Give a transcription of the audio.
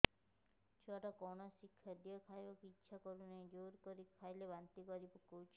ଛୁଆ ଟା କୌଣସି ଖଦୀୟ ଖାଇବାକୁ ଈଛା କରୁନାହିଁ ଜୋର କରି ଖାଇଲା ବାନ୍ତି କରି ପକଉଛି